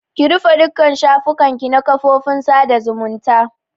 Ki rufe dukka shafukan ki na kafofin sada zumunta!